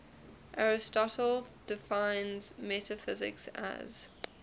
aristotle defines metaphysics as